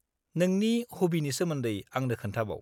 -नोंनि हबिनि सोमोन्दै आंनो खोन्थाबाव।